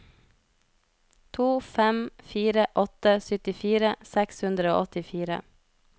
to fem fire åtte syttifire seks hundre og åttifire